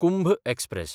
Kumbh express